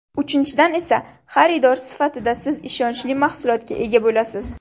Uchinchidan esa xaridor sifatida siz ishonchli mahsulotga ega bo‘lasiz.